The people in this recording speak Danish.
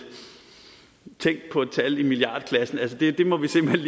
tænk på et tal i milliardklassen det må vi simpelt